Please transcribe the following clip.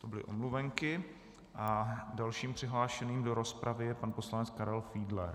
To byly omluvenky a dalším přihlášeným do rozpravy je pan poslanec Karel Fiedler.